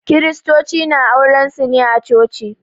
Kiristoci na auren su ne a Coci.